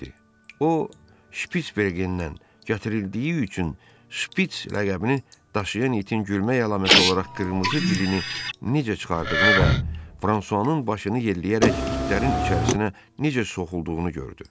O, Şpisbergendən gətirildiyi üçün Şpis ləqəbini daşıyan itin gülmə əlaməti olaraq qırmızı dilini necə çıxardığını və Fransuanın başını yelləyərək itlərin içərisinə necə soxulduğunu gördü.